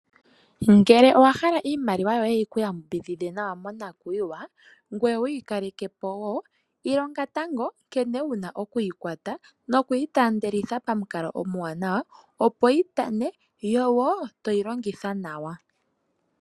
Ngele owa hala iimaliwa yoye yi ku yambidhidhe nawa monakuyiwa ngoye wu yi kaleke po wo ilonga tango nkene wu na okuyi kwata nokuyi taandelitha pamukalo omuwanawa, opo yi tane.